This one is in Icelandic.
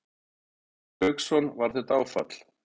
Hafsteinn Hauksson: Var þetta áfall?